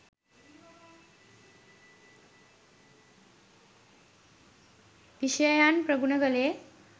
විෂයයන් ප්‍රගුණ කළේ.